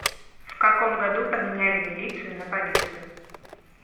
в каком году поменяли милицию на полицию